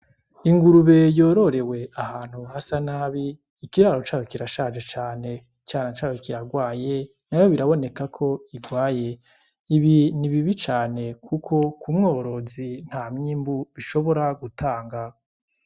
Ingurube yororewe ahantu hasa nabi, ikiraro cayo kirashaje cane. Icana cayo kiragwaye, nayo biraboneka ko kigwaye. Ibi ni bibi cane kuko ku mworozi nta mwimbu bishobora gutanga.